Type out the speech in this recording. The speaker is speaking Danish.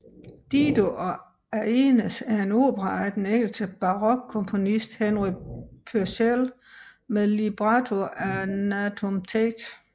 Dido og Aeneas er en opera af den engelske barokkomponist Henry Purcell med libretto af Nahum Tate